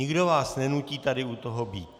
Nikdo vás nenutí tady u toho být.